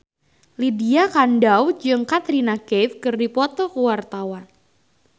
Lydia Kandou jeung Katrina Kaif keur dipoto ku wartawan